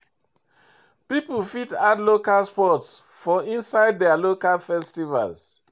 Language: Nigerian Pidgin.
Pipo fit add local sports for inside their local festivals